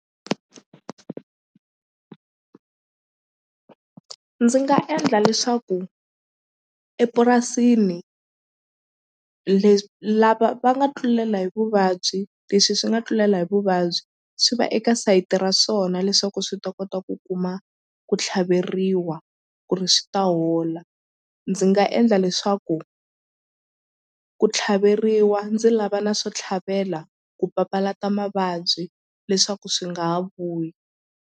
Ndzi nga endla leswaku epurasini lava va nga tlulela hi vuvabyi leswi swi nga tlulela hi vuvabyi swi va eka sayiti ra swona leswaku swi ta kota ku kuma ku tlhaveriwa ku ri swi ta hola ndzi nga endla leswaku ku tlhaveriwa ndzi lava na swo tlhavela ku papalata mavabyi leswaku swi nga ha vuyi.